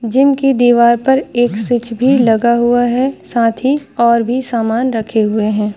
Gym की दीवार पर एक स्विच भी लगा हुआ है साथ ही और भी सामान रखे हुए है।